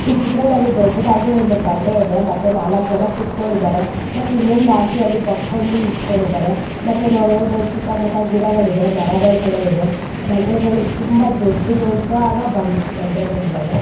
ಈ ಚಿತ್ರದಲ್ಲಿ ದೊಡ್ಡದಾಗಿ ಒಂದು ಬಂಡೆ ಇದೆ ಮತ್ತೆ ನಾಲ್ಕು ಜನ ಕೂಡಿಕೊಂಡಿದ್ದಾರೆ ಮತ್ತೆ ಇನ್ನೊಂದು ಅಂಟಿ ಯಲ್ಲಿ ಬಗಕೊಂಡು ನಿಂತ್ಕೊಂಡಿದ್ದಾರೆ ಮತ್ತ ನಾವ ನೋಡಬಹುದು ಸುತ್ತಮುತ್ತ ಗಿಡಗಳಿಗೆ ಮರಗಳು ಕೂಡ ಇದೆ ಬಂಡೆಗಳು ತುಂಬಾ ದೊಡ್ಡ ದೊಡ್ಡ ಆದ ಬಂಡೆಗಳಿವೆ.